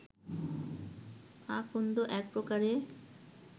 আকন্দ এক প্রকারের